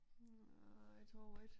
Nej tror ik